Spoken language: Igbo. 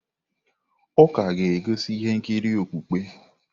Ụka ga-egosi ihe nkiri okpukpe.